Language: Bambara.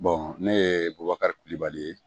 ne ye bubakari kulubali ye